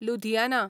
Ludhiana